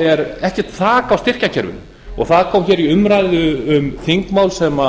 er ekkert þak á styrkjakerfinu og það kom fram í umræðu um þingmál sem